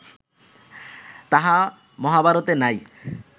তাহা মহাভারতে নাই